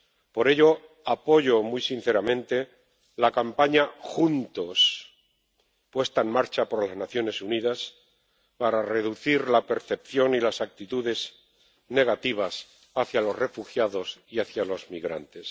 Por ello, apoyo muy sinceramente la campaña Juntos, puesta en marcha por las Naciones Unidas para reducir la percepción y las actitudes negativas hacia los refugiados y hacia los migrantes.